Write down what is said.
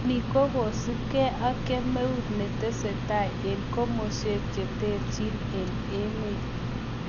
Ni kokosupke ak kemeut ne tese tai eng' komaswek cheterchin eng' emet